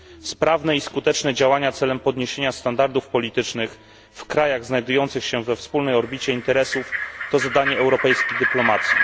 Sprawne i skuteczne działania celem podniesienia standardów politycznych w krajach znajdujących się we wspólnej orbicie interesów to zadanie europejskiej dyplomacji.